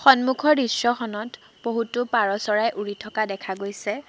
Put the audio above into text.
সন্মুখৰ দৃশ্যখনত বহুতো পাৰ চৰাই উৰি থকা দেখা গৈছে।